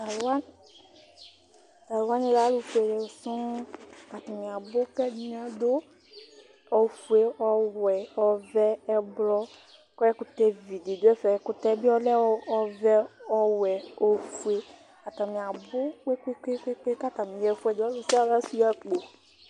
Talʋ wani lɛ alʋfuele sɔŋ atani abʋ kʋ ɛdini adʋ ofue, ɔvɛ, ɔwɛ, ɛblɔ, kʋ ɛkʋtɛvi didʋ ɛfɛ ɛkʋtɛ bi ɔlɛ ɔvɛ, ɔwɛ, ofue, atani abʋ kpe kpe kpe kpe kʋ atani yaxa ɛfʋɛdi ɔlʋ sia ɔlʋ asuia akpo